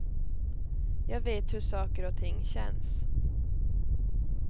Jag vet hur saker och ting känns.